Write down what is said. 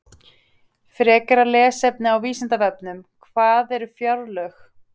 Frekara lesefni á Vísindavefnum: Hvað eru fjárlög?